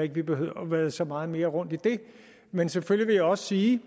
at vi behøver at vade så meget mere rundt i det men selvfølgelig også sige